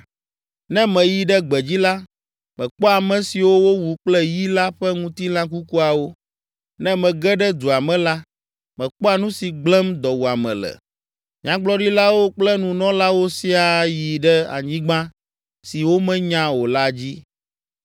Ne meyi ɖe gbedzi la, mekpɔa ame siwo wowu kple yi la ƒe ŋutilã kukuawo. Ne mege ɖe dua me la, mekpɔa nu si gblẽm dɔwuame le. Nyagblɔɖilawo kple nunɔlawo siaa yi ɖe anyigba si womenya o la dzi.’